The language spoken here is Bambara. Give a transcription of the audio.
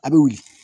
A bɛ wuli